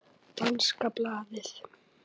Danska blaðið